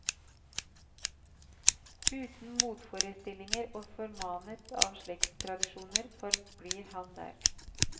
Uten motforestillinger og formanet av slektstradisjoner forblir han der.